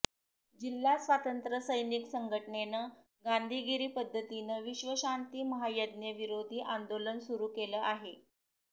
जिल्हा स्वातंत्र्यसैनिक संघटनेनं गांधीगिरी पद्धतीनं विश्वशांती महायज्ञ विरोधीआंदोलन सुरू केलं आहे